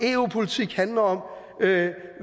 eu politik handler om